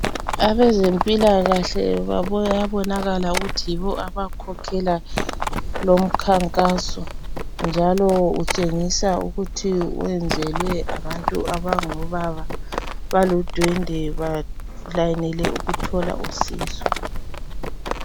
Abezempilakahle kuyabonakala ukuthi yibo abakhokhela lomkhankaso, njalo utshengisa ukuthi wenzelwe abantu abangobaba baludwende balayinile ukuthola usizo.